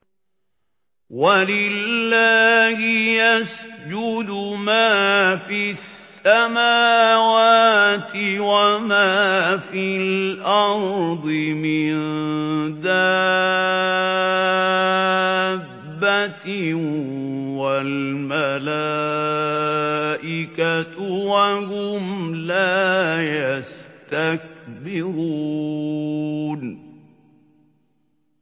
وَلِلَّهِ يَسْجُدُ مَا فِي السَّمَاوَاتِ وَمَا فِي الْأَرْضِ مِن دَابَّةٍ وَالْمَلَائِكَةُ وَهُمْ لَا يَسْتَكْبِرُونَ